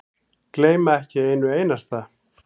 Gleyma ekki einu einasta.